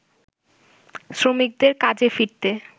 শ্রমিকদের কাজে ফিরতে